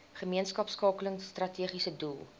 gemeenskapskakeling strategiese doel